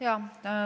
Jaa.